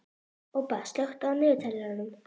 Ég held að svona fólk sé ódrepandi